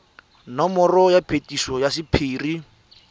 nomoro ya phetiso ya sephiri